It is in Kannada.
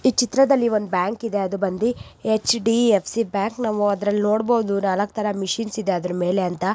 ಈ ಚಿತ್ರದಲ್ಲಿ ಒಂದು ಬ್ಯಾಂಕ್ ಇದೆ ಅದು ಬಂದಿ ಎಚ್_ಡಿ_ಫ್_ಸಿ ಬ್ಯಾಂಕ್ . ನಾವು ಅದ್ರಲ್ಲಿ ನೋಡಬಹುದು ನಾಲ್ಕು ತರ ಮಿಷೀನ್ಸ್ ಇದೆ ಅದರ ಮೇಲೆ ಅಂತ.